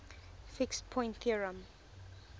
fixed point theorem